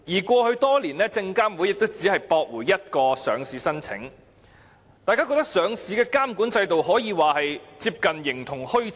過去多年，證監會亦只曾駁回一個上市申請，令人感到上市監管制度可說是接近形同虛設。